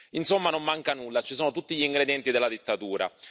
Insomma, non manca nulla ci sono tutti gli ingredienti della dittatura.